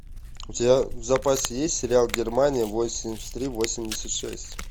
у тебя в запасе есть сериал германия восемьдесят три восемьдесят шесть